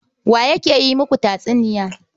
Wa yake yi muku tatsuniya?